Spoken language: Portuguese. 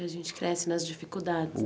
A gente cresce nas dificuldades.